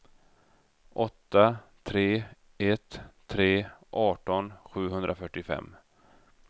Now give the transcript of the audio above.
åtta tre ett tre arton sjuhundrafyrtiofem